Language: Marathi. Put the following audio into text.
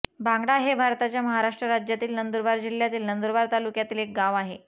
भांगडा हे भारताच्या महाराष्ट्र राज्यातील नंदुरबार जिल्ह्यातील नंदुरबार तालुक्यातील एक गाव आहे